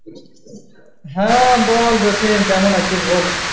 হ্যাঁ বল জসিম কেমন আছিস বল?